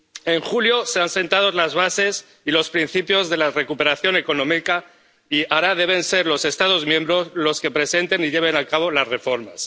En julio se han sentado las bases y los principios de la recuperación económica y ahora deben ser los Estados miembros los que presenten y lleven a cabo las reformas.